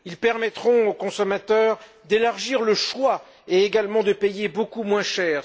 Ils permettront aux consommateurs d'élargir le choix et également de payer beaucoup moins cher.